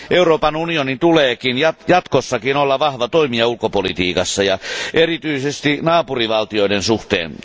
Euroopan unionin tulee jatkossakin olla vahva toimija ulkopolitiikassa ja erityisesti naapurivaltioiden suhteen.